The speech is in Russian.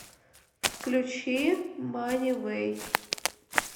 включи мани вэй